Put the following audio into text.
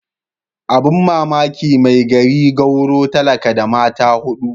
Abin mamaki mai gari gwauro talaka da mata hudu.